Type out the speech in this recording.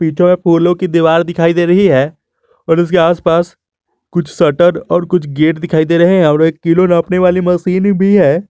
जो ये फूलों की दीवार दिखाई दे रही है और उसके आस पास कुछ शटर और कुछ गेट दिखाई दे रहे हैं और एक किलो नापने वाली मशीन भी है।